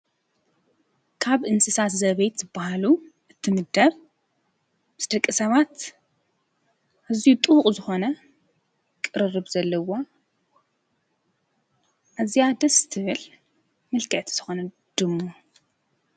ካብ እንስሳት ዘቤት ዝበሃሉ እትምደብ ምስ ደቂ ሰባት ኣዝዩ ጥቡቕ ዝኾነ ቕርርብ ዘለዋ እዚያ ደስትብል ምልክዕቲ ዝኾነት ድሙ።